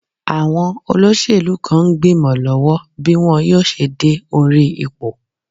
Àwọn olóṣèlú kan ń gbìmọ lọ́wọ́ bí wọn yóò ṣe dé orí ipò.